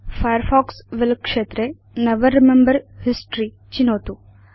Firefox will क्षेत्रे never remember history चिनोतु